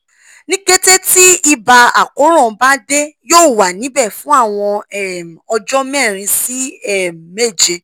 ni kete ti iba akoran ba de yoo wa nibẹ fun awọn um ọjọ merin si um meje